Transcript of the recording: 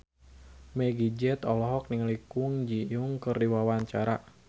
Meggie Z olohok ningali Kwon Ji Yong keur diwawancara